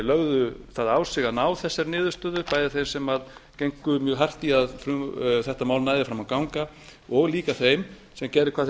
lögðu það á sig að ná þessari niðurstöðu bæði þeim sem gengu mjög hart í að þetta mál næði fram að ganga og líka þeim sem gerðu hvað